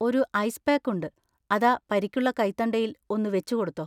ഒരു ice pack ഉണ്ട്, അതാ പരിക്കുള്ള കൈത്തണ്ടയിൽ ഒന്ന് വെച്ചുകൊടുത്തോ.